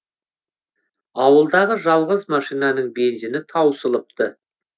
ауылдағы жалғыз машинаның бензині таусылыпты